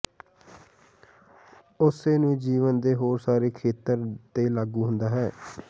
ਉਸੇ ਨੂੰ ਜੀਵਨ ਦੇ ਹੋਰ ਸਾਰੇ ਖੇਤਰ ਤੇ ਲਾਗੂ ਹੁੰਦਾ ਹੈ